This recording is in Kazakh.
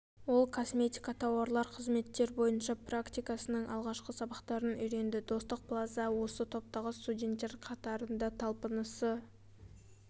ол косметика тауарлар қызметтер бойынша практикасының алғашқы сабақтарын үйренді достық плаза осы топтағы студенттер қатарында талпынысы